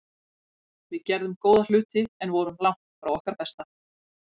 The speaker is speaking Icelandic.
Við gerðum góða hluti en vorum langt frá okkar besta.